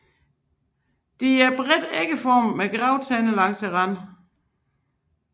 De er bredt ægformede med grove tænder langs randen